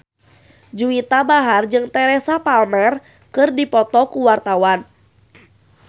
Juwita Bahar jeung Teresa Palmer keur dipoto ku wartawan